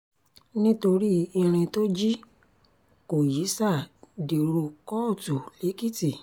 nítorí ìrìn tó jí kó yísà dèrò kóòtù lẹ́kìtì